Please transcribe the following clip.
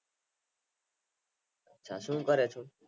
અચ્છા શું કરો છે